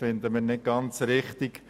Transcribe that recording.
Das finden wir nicht ganz richtig.